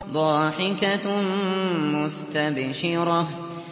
ضَاحِكَةٌ مُّسْتَبْشِرَةٌ